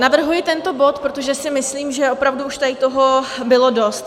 Navrhuji tento bod, protože si myslím, že opravdu už tady toho bylo dost.